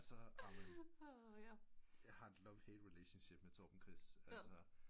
Så amen jeg har et love hate relationship med Torben Chris altså